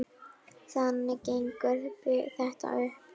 Þannig gengur þetta upp.